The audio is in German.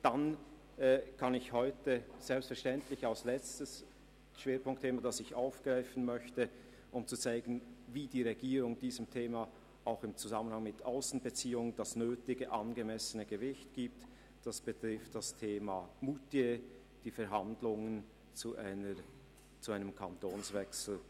Ausserdem möchte ich heute als letztes Schwerpunktthema das Thema Moutier und die Verhandlungen zu einem Kantonswechsel der Gemeinde aufgreifen und dabei zeigen, wie die Regierung diesem Thema auch im Zusammenhang mit Aussenbeziehungen das nötige und angemessene Gewicht verleiht.